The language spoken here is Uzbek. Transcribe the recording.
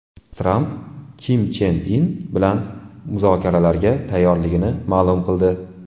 Tramp Kim Chen In bilan muzokaralarga tayyorligini ma’lum qildi.